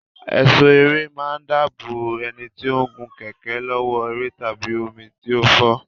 Ẹ̀ṣọ́ ẹrẹ̀ máa ń dáàbò bò ẹni tó ń gun kẹ̀kẹ́ lọ́wọ́ ẹrẹ̀ tàbí omi tí ń fọ́